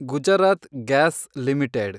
Gujarat gas limited